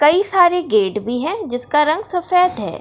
कई सारे गेट भी हैं जिसका रंग सफ़ेद है।